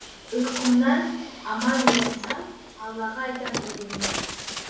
ұйқымнан аман оянсам аллаға айтам тәубемді